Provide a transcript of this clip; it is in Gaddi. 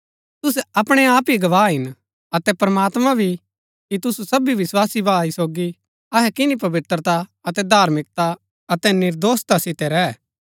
तुसै अपणै आप ही गवाह हिन अतै प्रमात्मां भी कि तुसु सभी विस्वासी भाई सोगी अहै किनी पवित्रता अतै धार्मिकता अतै निर्दोषता सितै रैह